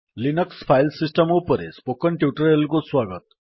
Linux file system ଉପରେ spoken tutorial କୁ ସ୍ୱାଗତ